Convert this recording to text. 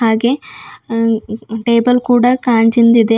ಹಾಗೆ ಅ ಟೇಬಲ್ ಕೂಡ ಗಾಜಿಂದ್ ಇದೆ.